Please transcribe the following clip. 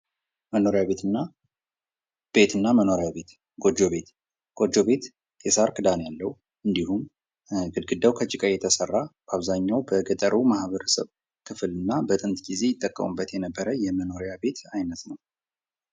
ቤት እና መኖሪያ ቤት ፦ ጎጆ ቤት ፦ ጎጆ ቤት የሳር ክዳን ያለው እንዲሁም ግድግዳው ከጭቃ የተሰራ በአብዛኛው በገጠሩ ማህበረሰብ ክፍል እና በጥንት ጊዜ ይጠቀሙበት የነበረ የመኖሪያ ቤት አይነት ነው ።